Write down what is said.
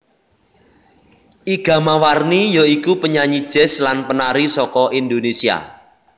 Iga Mawarni ya iku penyanyi jazz lan penari saka Indonesia